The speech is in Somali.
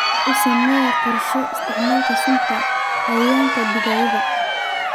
U samee qorshe isticmaalka sunta cayayaanka digaagaaga.